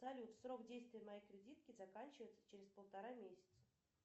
салют срок действия моей кредитки заканчивается через полтора месяца